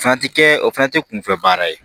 O fana ti kɛ o fana tɛ kunfɛ baara ye